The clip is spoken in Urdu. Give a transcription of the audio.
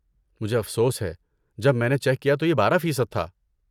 مجھے افسوس ہے، جب میں نے چیک کیا تو یہ بارہ فیصد تھا